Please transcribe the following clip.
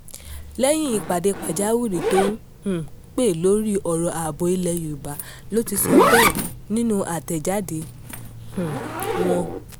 lẹ́yìn ìpàdé pàjáwìrì tó um pẹ́ lórí ọ̀rọ̀ ààbò ilẹ̀ yorùbá ló ti sọ bẹ́ẹ̀ nínú àtẹ̀jáde um wọn